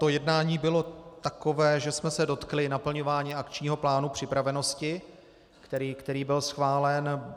To jednání bylo takové, že jsme se dotkli naplňování Akčního plánu připravenosti, který byl schválen.